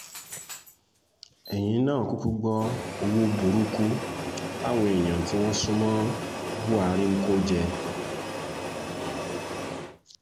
ẹ̀yìn náà kúkú gbọ́ owó burúkú táwọn èèyàn tí wọ́n sún mọ́ buhari ń kó jẹ́